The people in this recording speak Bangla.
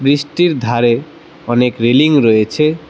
ব্রীজটির ধারে অনেক রেলিং রয়েছে।